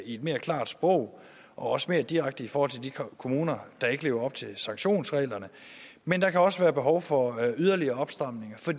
i mere klart sprog og også mere direkte i forhold til de kommuner der ikke lever op til sanktionsreglerne men der kan også være behov for yderligere opstramninger for